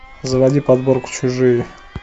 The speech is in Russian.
заводи подборку чужие